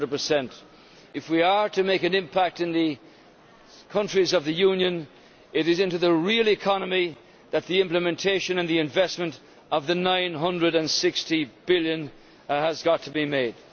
100. If we are to make an impact in the countries of the Union, it is into the real economy that the implementation and the investment of the EUR 960 billion has got to be made.